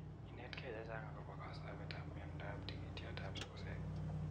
Inetkei che chang' akopa �kasapet �ap miandoap tigityotap sugusek